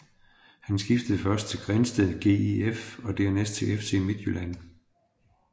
Han skiftede først til Grindsted GIF og dernæst til FC Midtjylland